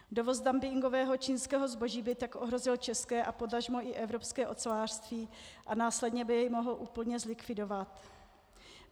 Dovoz dumpingového čínského zboží by tak ohrozil české a potažmo i evropské ocelářství a následně by je mohl úplně zlikvidovat.